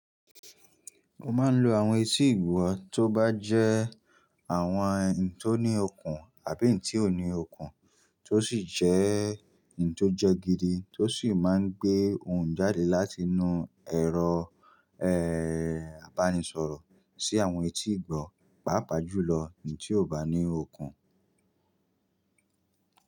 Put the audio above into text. Mo máa ń lo àwọn etí ìgbọ́ tó bá jẹ́ àwọn ohun tó ní okun àbí ohun tí ò ní okun, tó sì jẹ́ ohun ti ó jẹgidi tó sì máa ń gbé ohùn jáde láti inú ẹ̀rọ ibánisọ̀rọ̀ sí àwọn etí ìgbọ́, pàápàá jùlọ ohun tí ò bá ní okun.